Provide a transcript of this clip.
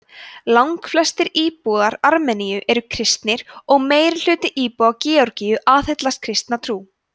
langflestir íbúar armeníu eru kristnir og meirihluti íbúa georgíu aðhyllist kristna trú